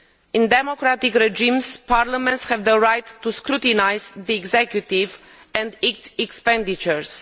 In democratic regimes, parliaments have the right to scrutinise the executive and its expenditures.